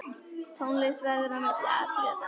Tónlist verður á milli atriða.